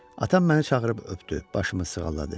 Atam məni çağırıb öpdü, başımı sığalladı.